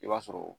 I b'a sɔrɔ